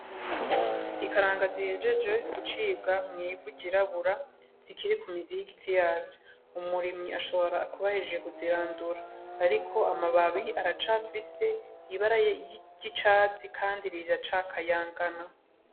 Ikaranga zihejeje gucibwa mw'ivu ryirabura zikiri kumizi y'igiti yaco, umurimyi ashobora kuba ahejeje kuziradura hariko amababi acafise ibara ry'icatsi kandi riracakayagana.